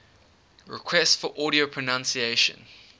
requests for audio pronunciation